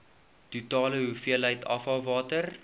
totale hoeveelheid afvalwater